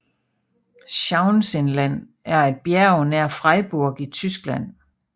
Schauinsland er et bjerg nær Freiburg i Tyskland